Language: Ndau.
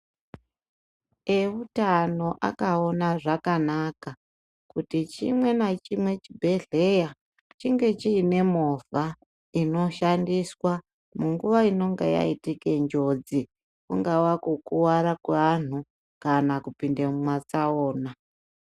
Eutano akaona zvakanaka kuti chimwe nachimwe chibhedhleya chinge chine movha inoshandiswa munguwa inenge yaitike njodzi kungavakukuwara kwevanhu kana kupinde mumatsaona.